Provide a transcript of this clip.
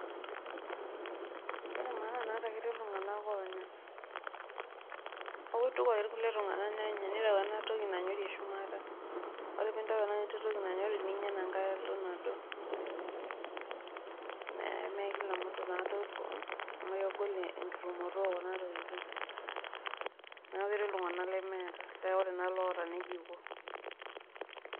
Ore maana naata ketii iltung'anak oonyorr neeku kituku ake kulie tung'anak nenya kitawuo ake ena toki nanyori eshumata, ore pee intau ena toki nanyiri ninya enankae alo nado, mee kila mutu taa lotum amu kegolenking'orunoto.